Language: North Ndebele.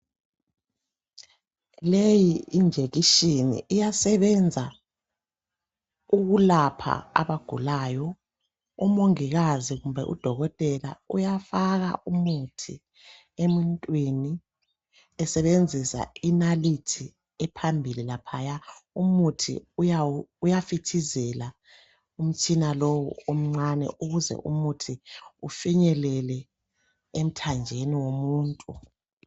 Leyi yinjekishini. Iyasebenza ukulapha abagulayo. Umongikazi kumbe udokotela, uyafaka umuthi emuntwini, esebenzisa inalithi ephambili laphaya. Umuthi uyafithizela umtshina lowu omncane, ukuze umuthi ufinyelele emthanjeni womuntu.